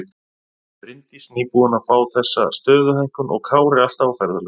Bryndís nýbúin að fá þessa stöðuhækkun og Kári alltaf á ferðalögum.